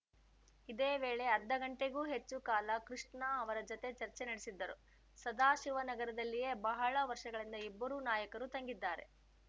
ಇದೇ ವೇಳೆ ಅರ್ಧ ಗಂಟೆಗೂ ಹೆಚ್ಚು ಕಾಲ ಕೃಷ್ಣ ಅವರ ಜತೆ ಚರ್ಚೆ ನಡೆಸಿದ್ದರು ಸದಾಶಿವನಗರದಲ್ಲಿಯೇ ಬಹಳ ವರ್ಷಗಳಿಂದ ಇಬ್ಬರೂ ನಾಯಕರು ತಂಗಿದ್ದಾರೆ